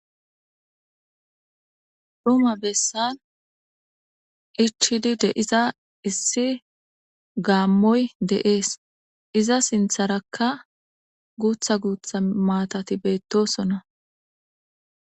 Duma bessan ichidi de iza issi gaammoy deees iza sintharakka guutha guutha maatati beettosonna.